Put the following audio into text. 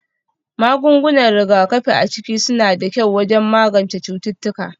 Magungunan rigakafi a ciki suna da kyau wajen magance cututtuka